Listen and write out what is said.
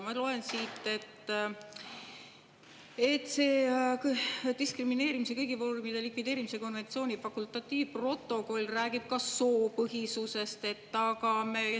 Ma loen siit, et see diskrimineerimise kõigi vormide likvideerimise konventsiooni fakultatiivprotokoll räägib ka soopõhisusest.